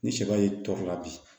Ni sɛba y'i tɔɔrɔ bi